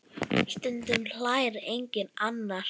Stundum hlær enginn annar.